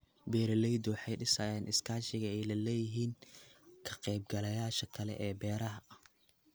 Beeraleydu waxay dhisayaan iskaashiga ay la leeyihiin ka qaybgalayaasha kale ee beeraha.